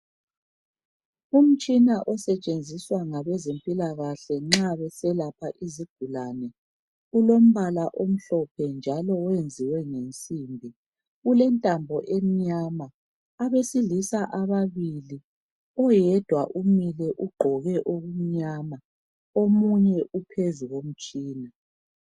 Umtshina osetshenziswa ngabezempilakahle nxa beselapha izigulane. Ulombala omhlophe njalo wenziwe ngensimbi. Ulentambo emnyama. Abesilisa ababili, oyedwa umile ugqoke okumnyama. Omunye uphezu komtshina.